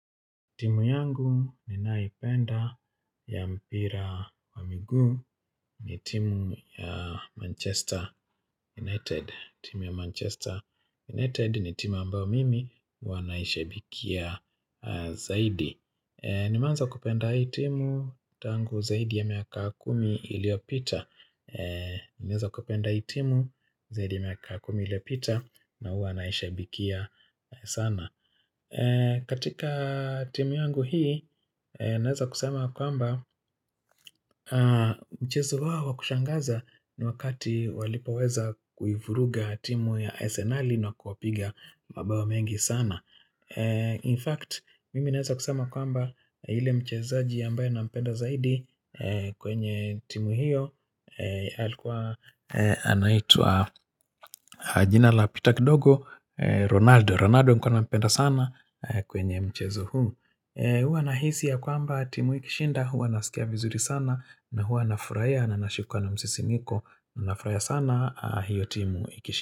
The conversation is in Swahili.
Timu yangu ninayoipenda ya mpira wa miguu ni timu ya Manchester United. Timu ya Manchester United ni timu ambao mimi huwa. Naishabikia zaidi. Nimeanza kupenda hii timu tangu zaidi ya miaka kumi iliopita. Nimeanza kupenda hii timu zaidi ya miaka kumi iliyopita na huwa naishabikia sana. Katika timu yangu hii, naeza kusema kwamba mchezo wao kushangaza ni wakati walipoweza kuivuruga timu ya asenali na kuipiga mabao mengi sana In fact, mimi naeza kusema kwamba yulle mchezaji ambayo nampenda zaidi kwenye timu hiyo alikuwa anaitwa jina lapita kidogo Ronaldo Ronaldo nilikuwa nampenda sana kwenye mchezo huu huwa nahisi ya kwamba timu ikishinda huwa nasikia vizuri sana na huwa na furahia na nashikwa na msisimko na furahia sana hiyo timu ikishinda.